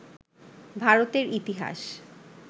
ভারতের ইতিহাস